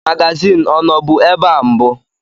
Magazin ọnọbu ebe a mbụ?